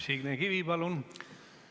Signe Kivi, palun!